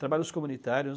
Trabalhos comunitários.